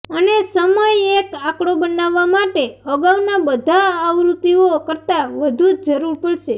અને સમય એક આંકડો બનાવવા માટે અગાઉના બધા આવૃત્તિઓ કરતાં વધુ જરૂર પડશે